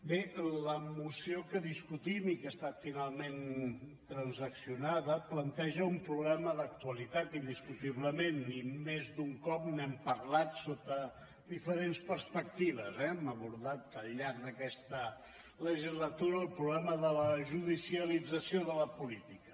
bé la moció que discutim i que ha estat finalment transaccionada planteja un problema d’actualitat indiscutiblement i més d’un cop n’hem parlat sota diferents perspectives eh hem abordat al llarg d’aquesta legislatura el problema de la judicialització de la política